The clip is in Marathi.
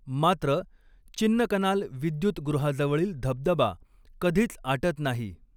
मात्र, चिन्नकनाल विद्युतगृहाजवळील धबधबा कधीच आटत नाही.